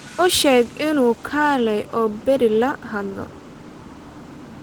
U sheeg inuu kaalay oo berri la hadlo